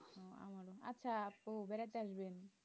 আচ্ছা তো বেড়াতে আসবেন